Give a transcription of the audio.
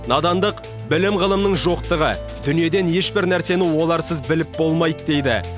надандық білім ғылымның жоқтығы дүниеден ешбір нәрсені оларсыз біліп болмайды дейді